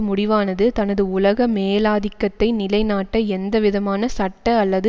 முடிவானது தனது உலக மேலாதிக்கத்தை நிலைநாட்ட எந்த விதமான சட்ட அல்லது